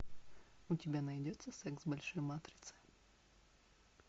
у тебя найдется секс в большой матрице